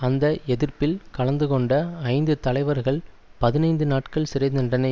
அந்த எதிர்ப்பில் கலந்து கொண்ட ஐந்து தலைவர்கள்பதினைந்து நாட்கள் சிறைதண்டனை